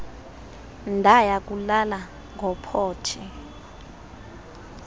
ndaya kulala ngophothe